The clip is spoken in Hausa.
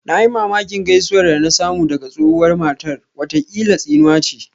Na yi mamakin gaisuwar da na samu daga tsohuwar matar, watakila tsinuwa ce